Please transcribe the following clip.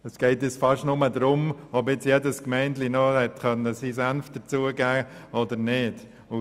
Es geht nun fast nur darum, ob jede kleine Gemeinde noch ihren Senf dazu geben konnte.